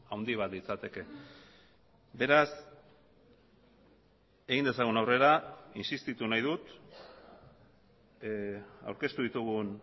handi bat litzateke beraz egin dezagun aurrera insistitu nahi dut aurkeztu ditugun